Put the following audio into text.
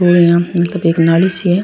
मतलब एक नाली सी है।